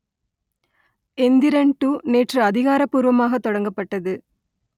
Enthiran two நேற்று அதிகாரப்பூர்வமாக தொடங்கப்பட்டது